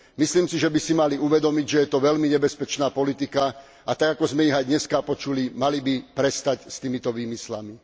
Myslím si, že by si mali uvedomiť, že je to veľmi nebezpečná politika, a tak, ako sme ich aj dneska počuli, mali by prestať s týmito výmyslami.